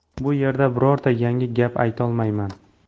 Bu erda birorta yangi gap aytolmayman.